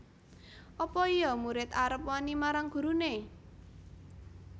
Apa iya murid arep wani marang gurune